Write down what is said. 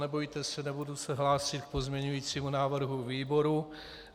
Nebojte se, nebudu se hlásit k pozměňovacímu návrhu výboru.